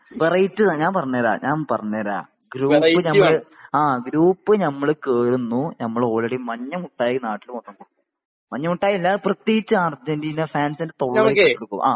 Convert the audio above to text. Variety ഞാൻ പറഞ്ഞു തര ഞാൻ പറഞ്ഞു തര ഗ്രൂപ്പ് നമ്മള് ആഗ്രൂപ്പ് നമ്മള് കേറുന്നു നമ്മള് ഓൾറെഡി മഞ്ഞ മുട്ടായി നാട്ടില് മൊത്തം കൊടുക്കുന്നു . മഞ്ഞ മുട്ടായി അല്ല പ്രത്യേകിച്ച് അരജെന്റിന ഫാൻസിന്റെ തൊള്ളയിലേക്ക് ഇട്ടു കൊടുക്കും